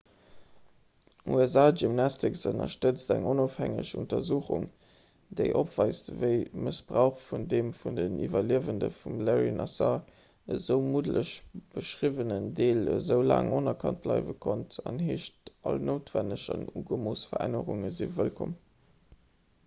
usa gymnastics ënnerstëtzt eng onofhängeg untersuchung déi opweist wéi mëssbrauch vun deem vun de iwwerliewende vum larry nassar esou muddeg beschriwwenen deel esou laang onerkannt bleiwe konnt an heescht all noutwenneg an ugemooss verännerunge wëllkomm